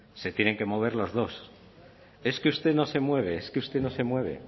se tienen que mover los dos es que usted no se mueve es que usted no se mueve